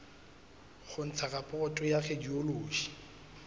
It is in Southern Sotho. ho ntsha raporoto ya radiology